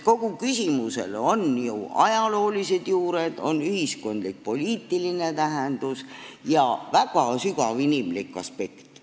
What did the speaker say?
Kogu küsimusel on ju ajaloolised juured, ühiskondlik-poliitiline tähendus ja väga sügav inimlik aspekt.